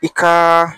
I ka